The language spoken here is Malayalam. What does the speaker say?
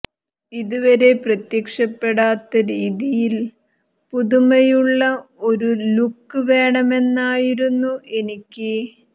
ഇതുവരെ പ്രത്യക്ഷപ്പെടാത്ത രീതിയിൽ പുതുമയുള്ള ഒരു ലുക്ക് വേണമെന്നുണ്ടായിരുന്നു എനിക്ക്